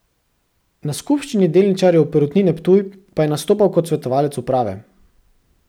Na skupščini delničarjev Perutnine Ptuj pa je nastopal kot svetovalec uprave.